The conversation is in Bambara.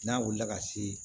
N'a wulila ka se